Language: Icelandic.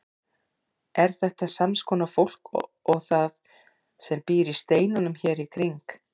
Er þetta sams konar fólk og það sem býr í steinunum hér í kring?